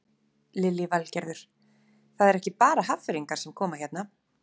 Lillý Valgerður: Það eru ekki bara Hafnfirðingar sem koma hérna?